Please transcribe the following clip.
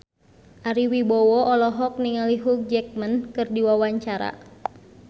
Ari Wibowo olohok ningali Hugh Jackman keur diwawancara